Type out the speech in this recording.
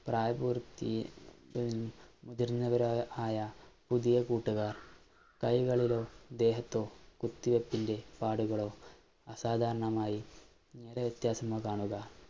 പ്രായപൂര്‍ത്തി മുതിര്‍ന്നവരോ ആയ പുതിയ കൂട്ടുകാര്‍, കൈകളിലോ, ദേഹത്തോ കുത്തിവെയ്പിന്‍റെ പാടുകളോ, അസാധാരണമായി നിറവ്യത്യാസമോ കാണുക,